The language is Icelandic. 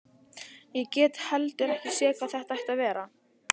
Ég get heldur ekki séð hvað það ætti að vera.